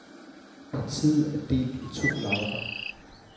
Partiet er delt i to lejre.